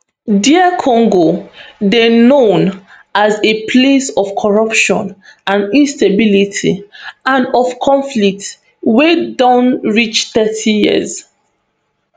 dr congo dey known as a place of corruption and instability and of conflict wey don reach thirty years